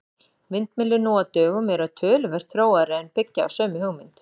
Vindmyllur nú á dögum eru töluvert þróaðri en byggja á sömu hugmynd.